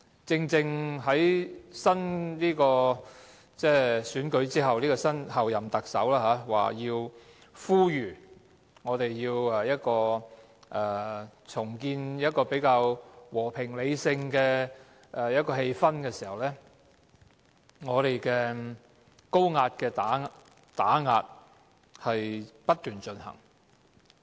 在新一屆特首選舉後，正當候任特首呼籲我們要重建較和平理性的氣氛的時候，高壓的打壓卻不斷進行。